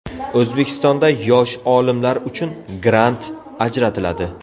O‘zbekistonda yosh olimlar uchun grant ajratiladi.